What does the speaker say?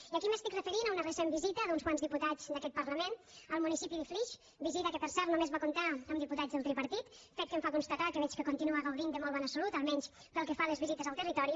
i aquí m’estic referint a una recent visita d’uns quants diputats d’aquest parlament al municipi de flix visita que per cert només va comptar amb diputats del tripartit fet que em fa constatar que veig que continua gaudint de molt bona salut almenys pel que fa les visites al territori